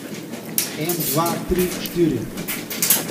En, dva, tri, štiri!